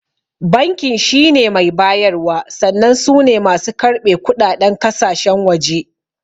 Bankin shine mai bayarwa sannan sune masu karɓe kuɗaɗen kasashen waje